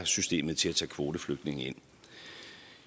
systemet til at tage kvoteflygtninge ind